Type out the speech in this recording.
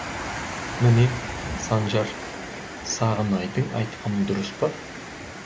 міне санжар сағынайдың айтқаны дұрыспа